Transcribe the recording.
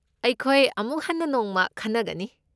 ꯑꯩꯈꯣꯏ ꯑꯃꯨꯛ ꯍꯟꯅ ꯅꯣꯡꯃ ꯈꯟꯅꯒꯅꯤ꯫